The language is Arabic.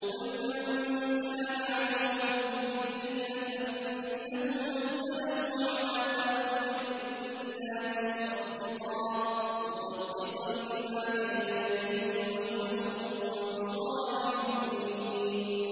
قُلْ مَن كَانَ عَدُوًّا لِّجِبْرِيلَ فَإِنَّهُ نَزَّلَهُ عَلَىٰ قَلْبِكَ بِإِذْنِ اللَّهِ مُصَدِّقًا لِّمَا بَيْنَ يَدَيْهِ وَهُدًى وَبُشْرَىٰ لِلْمُؤْمِنِينَ